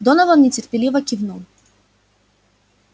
донован нетерпеливо кивнул